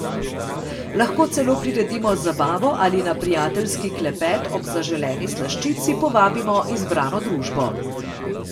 Lahko celo priredimo zabavo ali na prijateljski klepet ob zaželeni slaščici povabimo izbrano družbo.